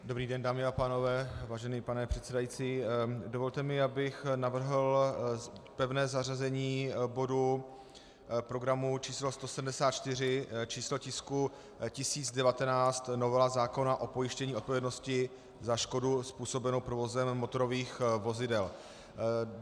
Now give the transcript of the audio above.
Dobrý den, dámy a pánové, vážený pane předsedající, dovolte mi, abych navrhl pevné zařazení bodu programu číslo 174, číslo tisku 1019, novela zákona o pojištění odpovědnosti za škodu způsobenou provozem motorových vozidel.